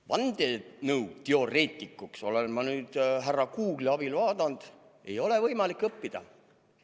Vandenõuteoreetikuks, nagu ma olen nüüd härra Google'i abil vaadanud, ei ole võimalik õppida.